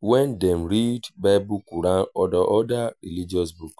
when dem read bible quran or oda religious books